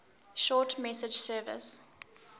short message service